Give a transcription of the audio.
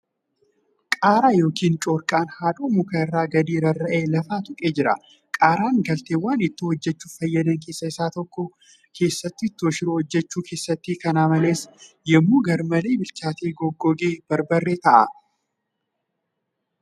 Qaaraa yookiin corqaan haadhoo mukaa irraa gadi rarra'ee lafa xuqee jira. Qaaraan galteewwan ittoo hojjachuuf fayyadan keessa isa tokko .Keessattu ittoo shiroo hojjachuu keessatti. Kana malees, yemmuu garmalee bilchaate goggogee barbaree ta'a.